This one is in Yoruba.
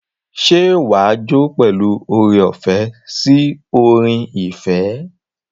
Ṣé wàá jó pẹ̀lú oore-ọ̀fẹ́ sí orin ìfẹ́?